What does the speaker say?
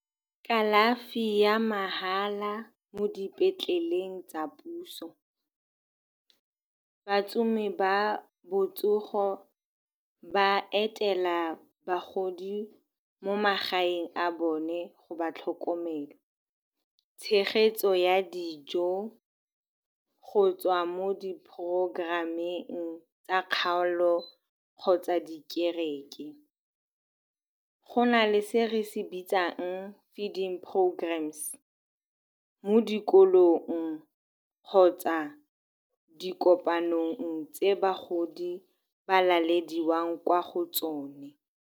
Kalafi ya mahala mo dipetleleng tsa puso, batsamai ba botsogo ba etela bagodi mo magaeng a bone go ba tlhokomela. Tshegetso ya dijo go tswa mo di programm-eng tsa kgaolo kgotsa di kereke. Go na le se re se bitsang feeding programs-e mo dikolong kgotsa di kopanong tse bagodi ba lalediwang kwa go tsone.